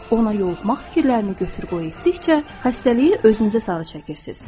Ona yoluxmaq fikirlərini götür-qoy etdikcə, xəstəliyi özünüzə sarı çəkirsiniz.